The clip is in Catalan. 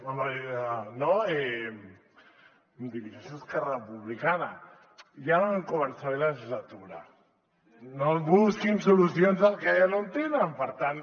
home no em dirigeixo a esquerra republicana ja no vam començar bé la legislatura no busquin solucions al que ja no en té per tant